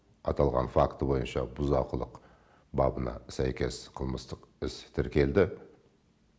аталған факт бойынша бұзақылық бабына сәйкес қылмыстық іс тіркелді